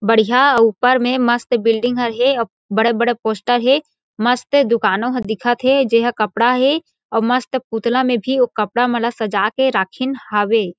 बढ़ियाँ ऊपर में मस्त बिल्डिंग हर हे अऊ बड़े-बड़े पोस्टर हे मस्त दुकानों ह दिखत हे जे ह कपडा हे अउ मस्त पुतला म भी कपडा मन ला सजा के राखिन हावे।